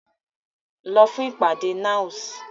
Lọ fún ìpàdé NAOS!